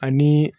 Ani